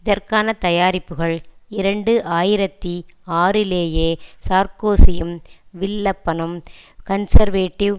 இதற்கான தயாரிப்புக்கள் இரண்டு ஆயிரத்தி ஆறு லேயே சார்க்கோசியும் வில்லப்பனும் கன்சர்வேடிவ்